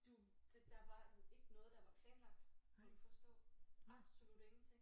Du det der var ikke noget der var planlagt må du forstå absolut ingenting